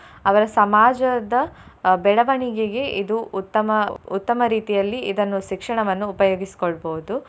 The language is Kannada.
ಅವರ ಸಮಾಜದ ಅಹ್ ಬೆಳವಣಿಗೆಗೆ ಇದು ಉತ್ತಮ ಉತ್ತಮ ರೀತಿಯಲ್ಲಿ ಇದನ್ನು ಶಿಕ್ಷಣವನ್ನು ಉಪಯೋಗಿಸಿಕೊಳ್ಬೋದು.